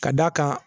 Ka d'a kan